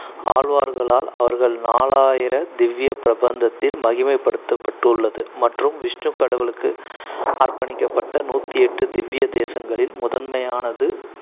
ஆழ்வார்களால் அவர்கள் நாலாயிர திவ்ய பிரபந்தத்தில் மகிமைப்படுத்தப்பட்டிள்ளது மற்றும் விஷ்ணு கடவுளுக்கு அர்ப்பணிக்கப்பட்ட நூத்து எட்டு திவ்ய தேசங்களில் முதன்மையானது